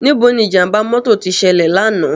Nibó ni ijàmbá mòtó ti sèlè làná?